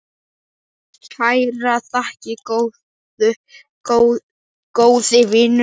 Kærar þakkir, góði vinur.